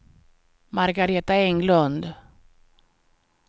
Margareta Englund